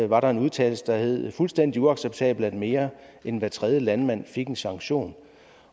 var en udtalelse der hed fuldstændig uacceptabelt at mere end hver tredje landmand fik en sanktion